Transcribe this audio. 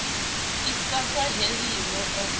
i sa khwa heliho u